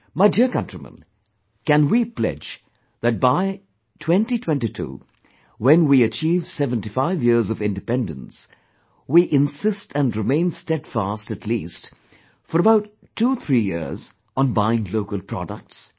My dear countrymen, can we pledge, that by 2022, when we achieve 75 years of independence we insist and remain steadfast at least, for about twothree years on buying local products